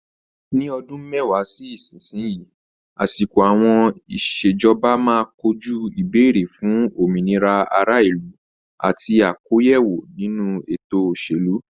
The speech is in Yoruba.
Ní ọdún mẹ́wàá sí ìsinsìnyí, àsìkò àwọn ìṣèjọba máa kojú ìbéèrè fún òmìnira ará ìlú àti àkóyawọ́ ninu ètò òṣèlú.